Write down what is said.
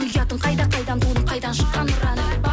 ұятың қайда қайдан тудың қайдан шыққан ұраның